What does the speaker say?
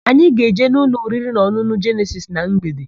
Anyị ga-eje n'ụlọ oririnaọn̄ụn̄ụ Jenesis na mgbede.